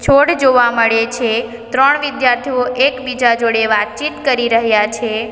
છોડ જોવા મળે છે ત્રણ વિદ્યાર્થીઓ એકબીજા જોડે વાતચીત કરી રહ્યા છે.